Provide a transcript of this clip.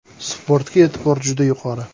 Sportga e’tibor juda yuqori.